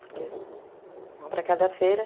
Porque, uma para cada feira.